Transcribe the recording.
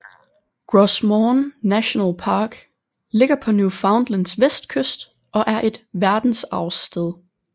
Gros Morne National Park ligger på Newfoundlands vestkyst og er et verdensarvssted